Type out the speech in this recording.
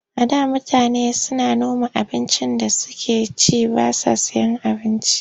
A da mutane suna noma abincin da suke ci ba sa sayen abinci.